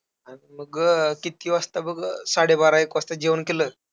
आणि मग, किती वाजता बघ, साडेबारा-एक वाजता जेवण केलं.